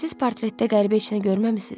Siz portretdə qəribə heç nə görməmisiniz?